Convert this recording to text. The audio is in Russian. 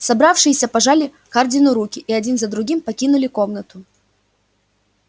собравшиеся пожали хардину руки и один за другим покинули комнату